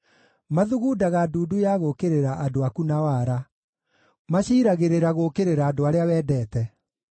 Mathugundaga ndundu ya gũũkĩrĩra andũ aku na wara; maciiragĩrĩra gũũkĩrĩra andũ arĩa wendete.